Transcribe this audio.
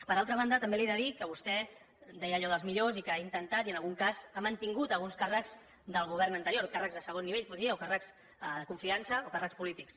per altra banda també li he de dir que vostè deia allò dels millors i que ha intentat i en algun cas ha mantingut alguns càrrecs del govern anterior càrrecs de segon nivell poder o càrrecs de confiança o càrrecs polítics